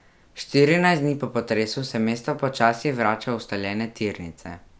Štirinajst dni po potresu se mesto počasi vrača v ustaljene tirnice.